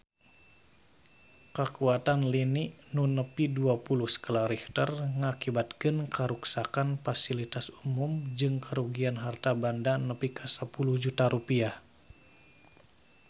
Kakuatan lini nu nepi dua puluh skala Richter ngakibatkeun karuksakan pasilitas umum jeung karugian harta banda nepi ka 10 juta rupiah